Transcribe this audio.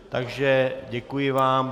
Takže děkuji vám.